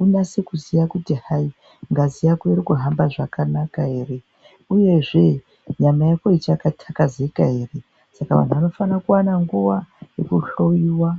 unyatse kuziya kuti hai ngazi yako iri kuhamba zvakanaka ere uyezve nyama yako ichaka takazika ere saka antu ano fana kuona kuva yeku hloyiwa.